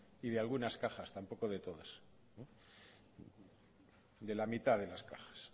y de algunas cajas tampoco de todas de la mitad de las cajas